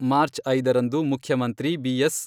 March ಐದರಂದು ಮುಖ್ಯಮಂತ್ರಿ BS.